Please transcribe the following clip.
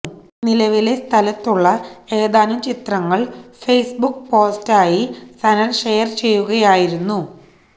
നിലവിലെ സ്ഥലത്തുള്ള ഏതാനും ചിത്രങ്ങൾ ഫേസ്ബുക് പോസ്റ്റായി സനൽ ഷെയർ ചെയ്യുകയായിരുന്നു